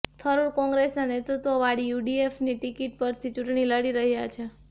થરૂર કોંગ્રેસના નેતૃત્વ વાળી યુડીએફની ટિકિટ પરથી ચૂંટણી લડી રહ્યા છે